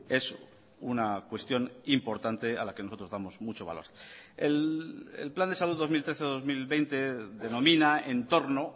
es una cuestión importante a la que nosotros damos mucho valor el plan de salud dos mil trece dos mil veinte denomina entorno